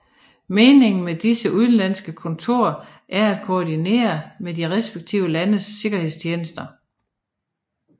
Meningen med disse udenlandske kontorer er at koordinere med de respektive landes sikkerhedstjenester